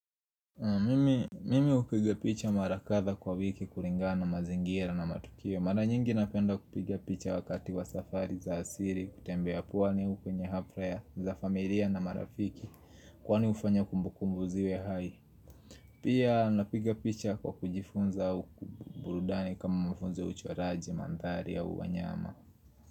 Mimi hupiga picha mara kadha kwa wiki kulingana mazingira na matukio. Mara nyingi napenda kupiga picha wakati wa safari za asiri kutembea pwani kunye haplaya za familia na marafiki kwani ufanya kumbukumbu ziwe hai. Pia napiga picha kwa kujifunza uku burudani kama mafunzo uchoraji, mandhari ya wanyama.